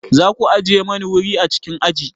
Za ku ajiye mani wuri a cikin aji?